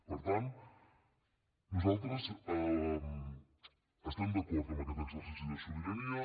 per tant nosaltres estem d’acord amb aquest exercici de sobirania